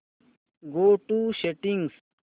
go to settings